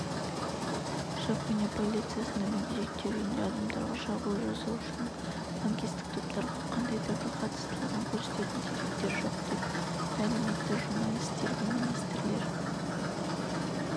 жапония полициясында мүгедектер үйінде адамдарға шабуыл жасаушының лаңкестік топтарға қандай да бір қатыстылығын көрсететін деректер жоқ деп мәлім етті журналистерге министрлер